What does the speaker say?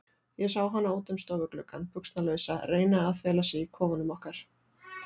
Ég sá hana út um stofugluggann, buxnalausa, reyna að fela sig í kofanum okkar.